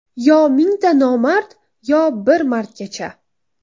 Yo mingta nomard Yo bir mardgacha.